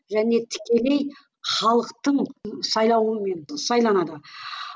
және тікелей халықтың сайлауымен сайланады